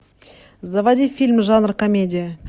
заводи фильм жанр комедия